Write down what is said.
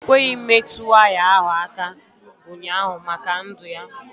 Ọ kweghị metụ waya ahụ aka ụnyaahụ maka ndụ ya.